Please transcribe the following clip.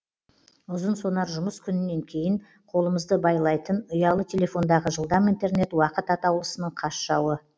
ұзынсонар жұмыс күнінен кейін қолымызды байлайтын ұялы телефондағы жылдам интернет уақыт атаулысының қас жауы